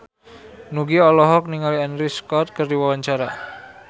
Nugie olohok ningali Andrew Scott keur diwawancara